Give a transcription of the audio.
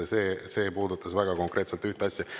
See puudutas väga konkreetselt ühte asja.